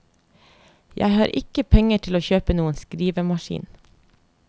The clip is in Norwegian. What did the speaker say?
Jeg har ikke penger til å kjøpe noen skrivemaskin.